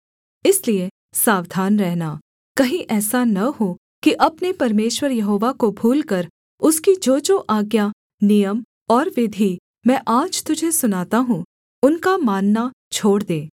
इसलिए सावधान रहना कहीं ऐसा न हो कि अपने परमेश्वर यहोवा को भूलकर उसकी जोजो आज्ञा नियम और विधि मैं आज तुझे सुनाता हूँ उनका मानना छोड़ दे